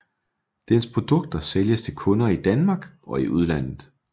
Dens produkter sælges til kunder i Danmark og i udlandet